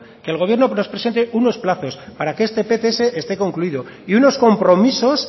que el gobierno nos presente unos plazos para que este pts esté concluido y unos compromisos